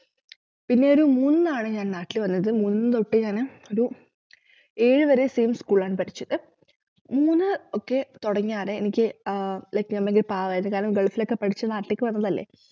പിന്നെയൊരു മൂന്നിന്നാണ് ഞാൻ നാട്ടിൽ വന്നത് മൂന്നിന്നു തൊട്ടു ഞാന് ഒരു ഏഴുവരെ same school ലാണ് പഠിച്ചത് മൂന്നു ഒക്കെ തൊടങ്ങിയകാലം എനിക്ക് ആഹ് like ഞാൻ ഭയങ്കര പാവായിരുന്നു കാരണം ഗൾഫിലൊക്കെ പഠിച്ചു നാട്ടിലേക്ക് വന്നതല്ലേ